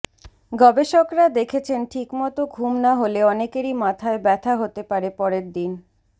গবেষকেরা দেখেছেন ঠিকমতো ঘুম না হলে অনেকেরই মাথায় ব্যথা হতে পারে পরের দিন